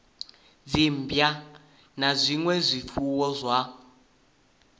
dzimmbwa na zwinwe zwifuwo zwa